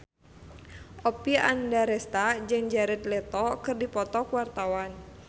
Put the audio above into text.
Oppie Andaresta jeung Jared Leto keur dipoto ku wartawan